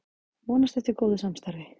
Vonast eftir góðu samstarfi